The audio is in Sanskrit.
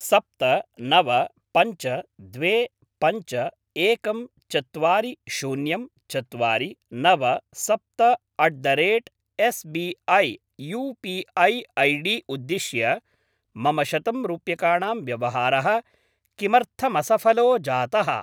सप्त नव पञ्च द्वे पञ्च एकं चत्वारि शून्यं चत्वारि नव सप्त at the rate SBI U P I ID उद्दिश्य मम शतं रूप्यकाणां व्यवहारः किमर्थमसफलो जातः?